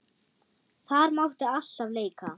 Þar mátti alltaf leika.